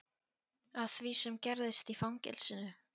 Af því sem gerðist í fangelsinu.